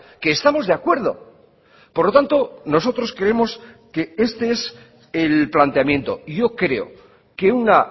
que estamos de acuerdo por lo tanto nosotros creemos que este es el planteamiento y yo creo que una